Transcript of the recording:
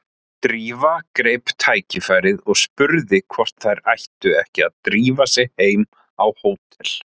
Drífa greip tækifærið og spurði hvort þær ættu ekki að drífa sig heim á hótel.